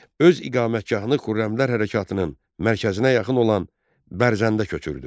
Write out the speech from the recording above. Öz iqamətgahını Xürrəmlər hərəkatının mərkəzinə yaxın olan Bərdəyə köçürdü.